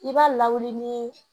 I b'a lawuli ni